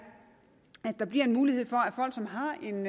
at der bliver en mulighed for